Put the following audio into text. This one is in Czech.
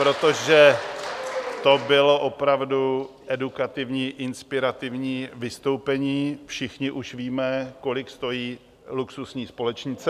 Protože to bylo opravdu edukativní, inspirativní vystoupení, všichni už víme, kolik stojí luxusní společnice.